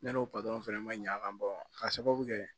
Ne n'o fɛnɛ ma ɲa a kan k'a sababu kɛ